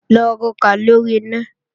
Lọ rokà lóri iná!